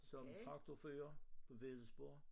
Som trakforfører på Wedellsborg